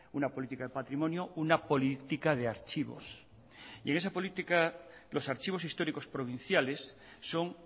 una política de patrimonio una política de archivos y en esa política los archivos históricos provinciales son